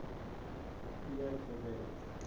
pierre de wet